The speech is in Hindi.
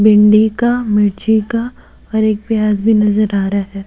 भिंडी का मिर्ची का और एक प्याज भी नजर आ रहा है।